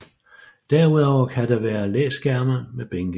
Derudover kan der være læskærme med bænke